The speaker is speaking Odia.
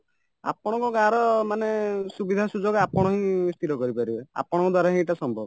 ଆପଣଙ୍କ ଗାଁର ମାନେ ସୁବିଧା ସୁଯୋଗ ଆପଣହିଁ ସ୍ଥିର କରିପାରିବେ ଆପଣଙ୍କ ଦ୍ଵାରାହିଁ ଏଇଟା ସମ୍ଭବ